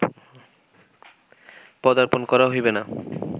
পদার্পণ করা হইবে না